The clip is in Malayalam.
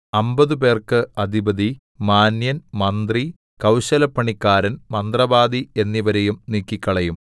അമ്പതുപേർക്ക് അധിപതി മാന്യൻ മന്ത്രി കൗശലപ്പണിക്കാരൻ മന്ത്രവാദി എന്നിവരെയും നീക്കിക്കളയും